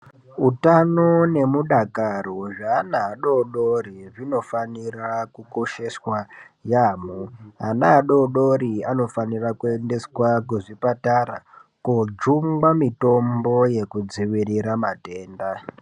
Utano nemudakaro wezveaana adodori unofanira kukosheswa yamho, ana adodori anofanira kuenda kuchipatara kojungwa mitombo yekudziirira matenda.